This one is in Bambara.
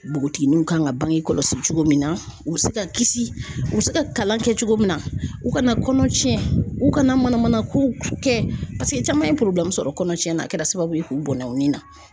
Bogotigininw kan ka bange kɔlɔsi cogo min na u bi se ka kisi u bi se ka kalan kɛ cogo min na u kana kɔnɔ cɛn u kana manamana kow kɛ paseke caman ye sɔrɔ kɔnɔcɛn na a kɛra sababu ye k'u bɔnnɔ u ni na.